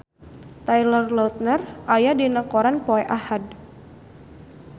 Taylor Lautner aya dina koran poe Ahad